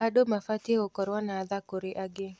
Andũ mabatiĩ gũkorwo na tha kũrĩ angĩ.